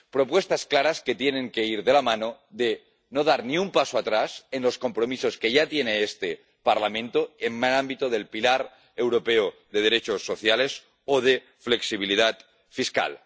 Son propuestas claras que tienen que ir de la mano de no dar ni un paso atrás en los compromisos que ya tiene este Parlamento en el ámbito del pilar europeo de derechos sociales o de flexibilidad fiscal.